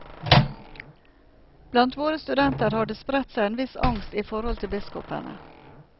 Blant våre studenter har det spredt seg en viss angst i forhold til biskopene.